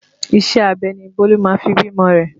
Iṣẹ́ abẹ ni Bólú máa fi bímọ rẹ